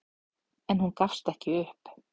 En hún gafst ekki upp.